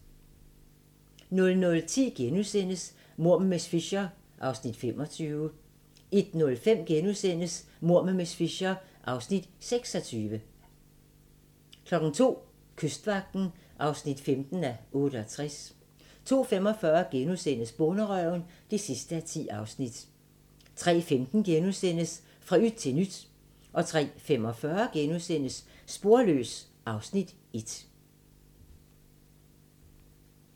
00:10: Mord med miss Fisher (25:13)* 01:05: Mord med miss Fisher (26:13)* 02:00: Kystvagten (15:68) 02:45: Bonderøven (10:10)* 03:15: Fra yt til nyt * 03:45: Sporløs (Afs. 1)*